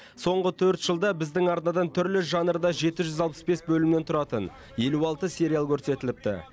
соңғы төрт жылда біздің арнадан түрлі жанрда жеті жүз алпыс бес бөлімнен тұратын елу алты сериал көрсетіліпті